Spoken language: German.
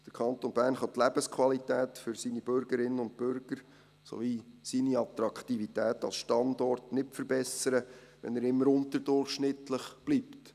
Der Kanton Bern kann die Lebensqualität für seine Bürgerinnen und Bürger sowie seine Attraktivität als Standort nicht verbessern, wenn er immer unterdurchschnittlich bleibt.